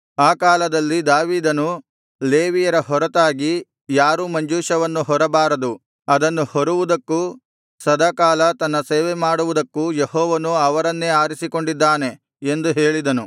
ಆ ಕಾಲದಲ್ಲಿ ದಾವೀದನು ಲೇವಿಯರ ಹೊರತಾಗಿ ಯಾರೂ ಮಂಜೂಷವನ್ನು ಹೊರಬಾರದು ಅದನ್ನು ಹೊರುವುದಕ್ಕೂ ಸದಾಕಾಲ ತನ್ನ ಸೇವೆಮಾಡುವುದಕ್ಕೂ ಯೆಹೋವನು ಅವರನ್ನೇ ಆರಿಸಿಕೊಂಡಿದ್ದಾನೆ ಎಂದು ಹೇಳಿದನು